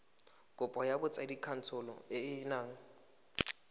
kopo ya botsadikatsholo e yang